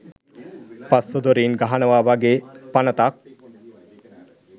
පස්ස දොරින් ගහනවා වගේ පනතක්.